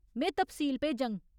में तफसील भेजङ।